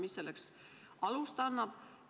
Mis selleks alust annab?